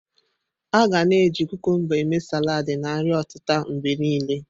A ga na eji kukumba eme saladi na nri otita mgbe niile.